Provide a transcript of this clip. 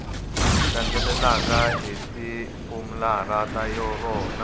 landzelaka hi ritofularha ra rona